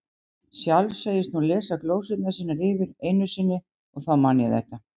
Sjálf segist hún lesa glósurnar sínar yfir einu sinni, og þá man ég þetta